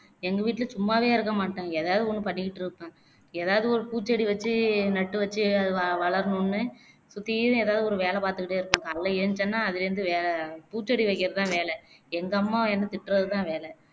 எங்க வீட்டிலே சும்மாவே இருக்க மாட்டாங்க எதாவது ஒன்னு பண்ணிக்கிட்டே இருப்பாங் எதாவது ஒரு பூச்செடி வச்சு நட்டு வச்சு அது வவளரணும்னு சுத்தீலும் எதாவது ஒரு வேலை பாத்துக்கிட்டே இருப்பாங்க காலைலே எழுந்திருச்சேன்னா அதுல இருந்து அதுதான் வேல பூச்செடி வைக்கிறதுதான் வேலை எங்க அம்மா என்ன திட்டுறதுதான் வேலை